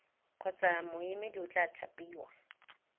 kgotsa moemedi o tla thapiwa